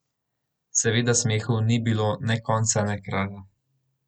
Seveda smehu ni bilo ne konca ne kraja.